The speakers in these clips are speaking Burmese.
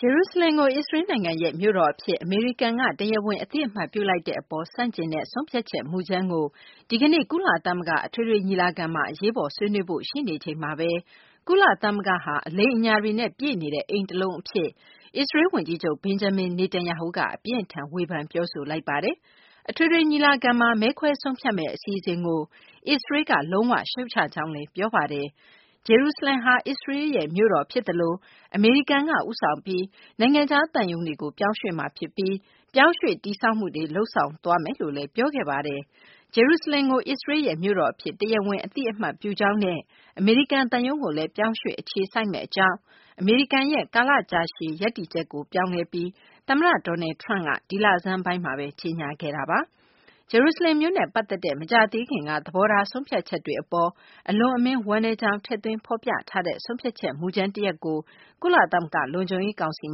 ဂျေရုဆလင်ကို အစ္စရေးလ်နိုင်ငံရဲ့ မြို့တော်အဖြစ် အမေရိကန်က တရားဝင် အသိအမှတ်ပြုလိုက်တဲ့အပေါ် ဆန့်ကျင်တဲ့ ဆုံးဖြတ်ချက် မူကြမ်းတခုကို ဒီကနေ့ ကုလသမဂ္ဂ အထွေထွေညီလာခံမှာ အရေးပေါ် ဆွေးနွေးဖို့ ရှိနေချိန်မှာပဲ၊ ကုလသမဂ္ဂဟာ အလိမ်အညာတွေနဲ့ ပြည့်နေတဲ့ အိမ်တလုံးအဖြစ် အစ္စရေးလ် ဝန်ကြီးချုပ် Benjamin Netanyahu က အပြင်းအထန် ဝေဖန်ပြောဆိုလိုက်ပါတယ်။ အထွေထွေညီလာခံမှာ မဲခွဲဆုံးဖြတ်မယ့် အစီအစဉ်ကို အစ္စရေးလ်က လုံးဝရှုတ်ချကြောင်းလည်း ပြောဆိုခဲ့တာပါ။ ဂျေရုဆလင်ဟာ အစ္စရေးလ်ရဲ့ မြို့တော်ဖြစ်သလို၊ အမေရိကန်က ဦးဆောင်ပြီး နိုင်ငံခြား သံရုံးတွေကို ပြောင်းရွှေ့မှာဖြစ်သလို၊ ပြောင်းရွှေ့တည်ဆောက်မှုတွေ လုပ်ဆောင်သွားမှာ ဖြစ်ကြောင်းလည်း ပြောဆိုခဲ့ပါတယ်။ ဂျေရုဆလင်ကို အစ္စရေးလ်ရဲ့ မြို့တော်အဖြစ် တရားဝင်အသိအမှတ်ပြုကြောင်းနဲ့ အမေရိကန် သံရုံးကိုလည်း ပြောင်းရွှေ့ အခြေစိုက်မယ့်အကြောင်း အမေရိကန်ရဲ့ ကာလကြာရှည် ရပ်တည်ချက်ကို ပြောင်းလဲပြီး သမ္မတ Donald Trump က ဒီလဆန်းပိုင်းမှာပဲ ကြေညာခဲ့တာပါ။ ဂျေရုဆလင်မြို့နဲ့ ပတ်သက်တဲ့ မကြာသေးခင်က သဘောထား ဆုံးဖြတ်ချက်တွေအပေါ် အလွန်အမင်း ဝမ်းနည်းကြောင်း ထည့်သွင်းဖော်ပြထားတဲ့ ဆုံးဖြတ်ချက် မူကြမ်း တရပ်ကိုလည်း ကုလသမဂ္ဂ လုံခြုံရေးကောင်စီ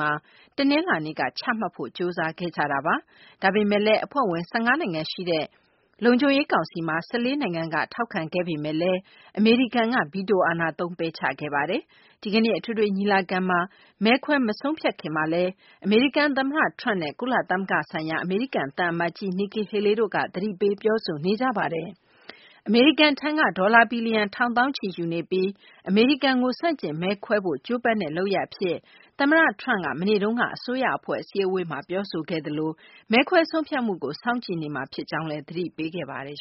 မှာ တနင်္လာနေ့က ချမှတ်ဖို့ ကြိုးစားခဲ့ကြတာပါ။ ဒါပေမဲ့လည်း အဖွဲ့ဝင် ၁၅ နိုင်ငံရှိတဲ့ လုံခြုံရေးကောင်စီမှာ ၁၄ နိုင်ငံက ထောက်ခံခဲ့ပေမဲ့လည်း အမေရိကန်က ဗီတိုအာဏာသုံး ပယ်ချခဲ့ပါတယ်။ ဒီကနေ့ အထွေထွေညီလာခံမှာ မဲခွဲ မဆုံးဖြတ်ခင်မှာလည်း အမေရိကန်သမ္မတ Trump နဲ့ ကုလသမဂ္ဂဆိုင်ရာ အမေရိကန်သံအမတ်ကြီး Nikki Haley တို့က သတိပေးပြောဆိုနေကြတာပါ။ အမေရိကန်ထံက ဒေါ်လာဘီလီယံ ထောင်သောင်းချီယူနေပြီး၊ အမေရိကန်ကို ဆန့်ကျင်မဲခွဲဖို့ ကြိုးပမ်းတဲ့ လုပ်ရပ်အဖြစ် သမ္မတ Trump က မနေ့တုန်းက အစိုးရအဖွဲ့ အစည်းအဝေးမှာ ပြောဆိုခဲ့သလို၊ မဲခွဲဆုံးဖြတ်မှုကို စောင့်ကြည့်နေမှာ ဖြစ်ကြောင်းလည်း သတိပေးခဲ့ပါတယ်